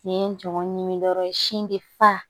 Nin ye n jɔ ɲimi dɔrɔn ye sin be fa